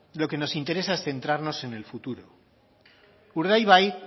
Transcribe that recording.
lo que nos interesa es centrarnos en el futuro urdaibaik